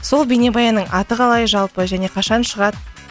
сол бейнебаянның аты қалай жалпы және қашан шығады